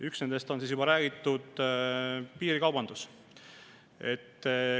Üks nendest on juba mainitud piirikaubandus.